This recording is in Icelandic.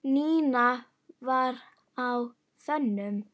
Nína var á þönum.